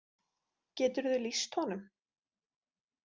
Geturðu lýst honum?